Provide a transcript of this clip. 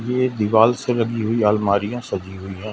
ये दीवाल से लगी हुई अलमारियां सजी हुई--